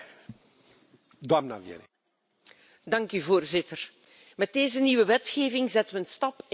Voorzitter, met deze nieuwe wetgeving zetten we een stap in de goede richting, en wel om drie redenen.